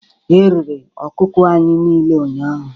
Erere ọkụkọ anyị niile ụnyahụ